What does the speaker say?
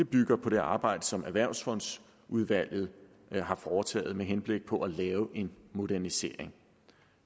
bygger på det arbejde som erhvervsfondsudvalget har foretaget med henblik på at lave en modernisering